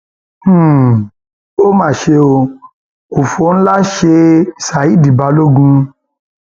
um ó mà ṣe o um òfò ńlá ṣe ṣádì balógun